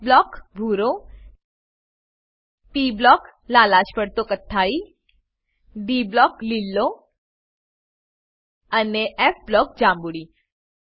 S block ભૂરો P block - લાલાશ પડતો કથ્થાઈ ડી બ્લોક - લીલો અને ફ બ્લોક - જાંબુડી